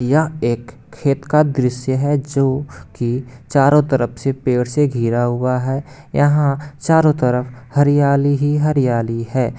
यह एक खेत का दृश्य है जो कि चारों तरफ के पेड़ों से घिरा हुआ है यहाँ चारो तरफ हरियाली ही हरियाली है।